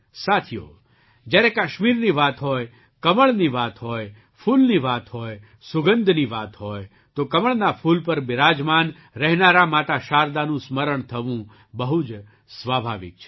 સાથીઓ જ્યારે કાશ્મીરની વાત હોય કમળની વાત હોય ફૂલની વાત હોય સુગંધની ત હોય તો કમળના ફૂલ પર બિરાજરમાન રહેનારાં માતા શારદાનું સ્મરણ થવું બહુ જ સ્વાભાવિક છે